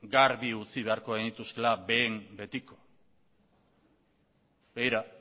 garbi utzi beharko genituzkeela behin betiko begira